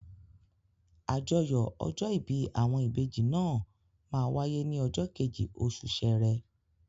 Àjọyọ̀ ọjọ́ ìbí àwọn ìbejì náà máa wáyé ní ọjọ́ kejì oṣù Sẹrẹ